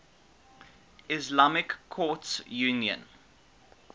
islamic courts union